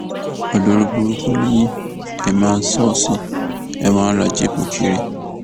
olórúburúkú ni yín èé máa ṣọsi ẹ wàá ń ra jíìpù kiri